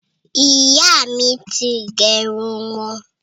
Ìyá mi ti gẹrun wọn.